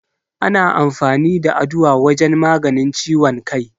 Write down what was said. Ana amfani da Aduwa wajen maganin ciwon kai.